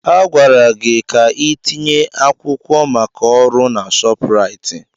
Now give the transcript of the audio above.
A gwara gị ka ị tinye akwụkwọ maka ọrụ na Shopraịt!